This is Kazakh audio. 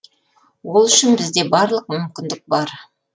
ол үшін бізде барлық мүмкіндік бар